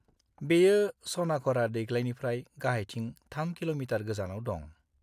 बेयो सनाघागरा दैग्लायनिफ्राय गाहायथिं 3 किल'मीटार गोजानाव दं।